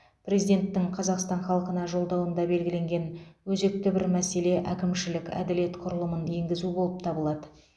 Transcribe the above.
президенттің қазақстан халқына жолдауында белгіленген өзекті бір мәселе әкімшілік әділет құрылымын енгізу болып табылады